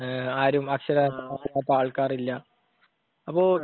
ആരും അക്ഷരാഭ്യാസം ഇല്ലാത്ത ആൾക്കാരില്ല അപ്പൊ